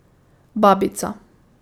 Babica.